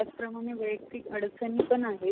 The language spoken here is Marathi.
त्याचप्रमाणे वैयक्तिक अडचणी पण आहेत.